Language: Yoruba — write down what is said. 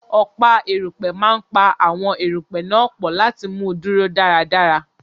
Ọ̀pá erùpẹ̀ máa pa àwọn erùpẹ̀ náà pọ̀ láti mú un dúró dáradára.